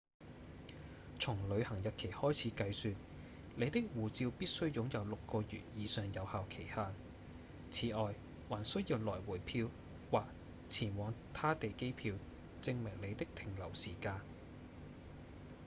從旅行日期開始計算你的護照必須擁有6個月以上有效期限此外還需要來回票或前往他地機票證明你的停留時間